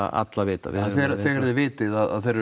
alla vita já þegar þið vitið að þeir eru